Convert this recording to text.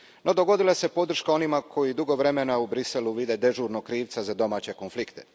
No, dogodila se podrška onima koji dugo vremena u Bruxellesu vide dežurnog krivca za domaće konflikte.